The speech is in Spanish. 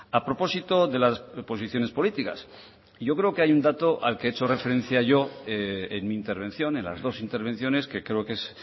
a propósito de las posiciones políticas yo creo que hay un dato al que he hecho referencia yo en mi intervención en las dos intervenciones que creo que es